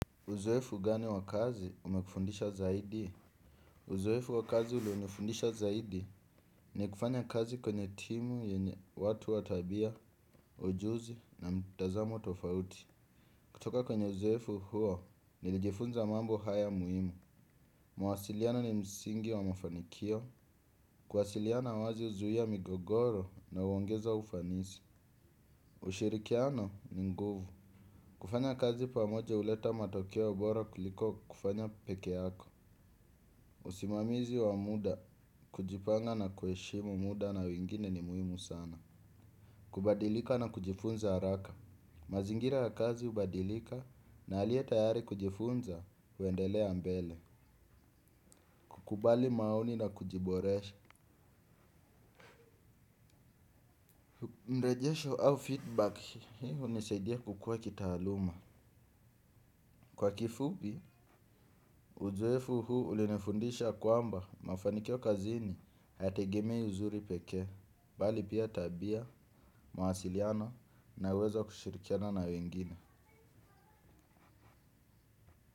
Uzoefu gani wa kazi umekufundisha zaidi? Uzoefu wa kazi ulionifundisha zaidi ni kufanya kazi kwenye timu yenye watu wa tabia, ujuzi na mtazamo tofauti. Kutoka kwenye uzoefu huo, nilijifunza mambo haya muhimu. Mawasiliano ni msingi wa mafanikio. Kuwasiliano wazi huzuia migogoro na huongeza ufanisi. Ushirikiano ni nguvu. Kufanya kazi pamoja huleta matokeo bora kuliko kufanya peke yako. Usimamizi wa muda kujipanga na kuheshimu muda na wengine ni muhimu sana. Kubadilika na kujifunza haraka. Mazingira ya kazi hubadilika na aliye tayari kujifunza huendelea mbele. Kukubali maoni na kujiboresha. Mrejesho au feedback hii hunisaidia kukua kitaaluma. Kwa kifupi, uzoefu huu ulinifundisha kwamba mafanikio kazini haya tegemei uzuri pekee bali pia tabia, mawasiliano na uwezo wa kushirikiana na wengine.